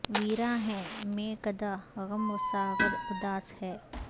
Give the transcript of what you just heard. ویراں ہے مے کدہ غم و ساغر اداس ہیں